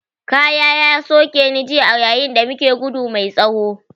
Ƙaya ya soke ni jiya a yayin da muke gudu mai tsawo